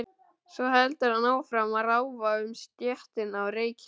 Svo heldur hann áfram að ráfa um stéttina og reykja.